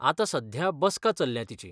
आतां सध्या बसका चल्ल्या तिची.